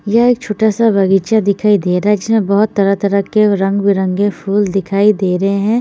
ये छोटा सा बगीचा दिखाई दे रहा है जिसमे बोहोत तरह तरह के रंग बिरंगे फूल दिखाई दे रहे है।